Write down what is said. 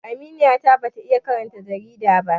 Aminiya ta ba ta iya karanta jarida ba